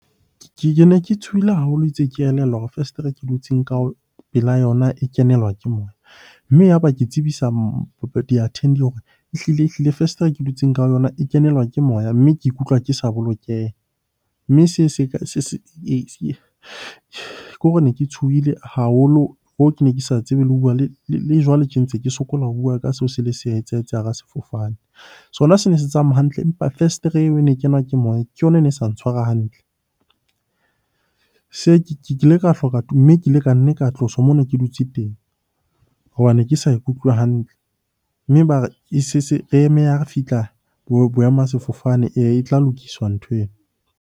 Ke ne ke tshohile haholo itse ke elellwa hore fesetere ke dutseng ka pela yona e kenelwa ke moya. Mme ya ba ke tsebisa hore ehlile-ehlile fesetere ke dutseng ka e kenelwa ke moya, mme ke ikutlwa ke sa bolokeha. Mme seo ke hore ne ke tshohile haholo hoo ke ne ke sa tsebe le ho bua le jwale tje ntse ke sokola ho bua ka seo se le se etsahetse hara sefofane. Sona se ne se tsamaya hantle empa festere eo e ne kenwa ke moya ke yona e ne sa ntshwara hantle. Ke ile ka hloka mme ke ile ka nne ka tloswa mo ne ke dutse teng hobane ke sa ikutlwe hantle. Mme eme ha re fihla boema sefofane, eya e tla lokiswa nthweo.